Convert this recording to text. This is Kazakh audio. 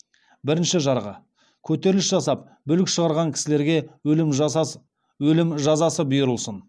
бірінші жарғы көтеріліс жасап бүлік шығарған кісілерге өлім жазасы бұйырылсын